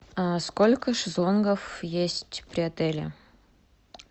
сколько шезлонгов есть при отеле